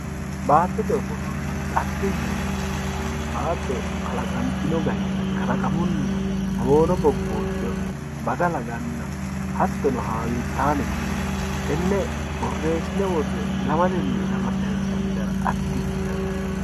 baattote ofollonna xagge yinanni wote baatto kalaqantino gari kalaqamunni boono bobboodda baga laganna hattono haawiittaamete tenne borreessine worre ilamatenni ilama sayiinsanni gara xaggete yinanni.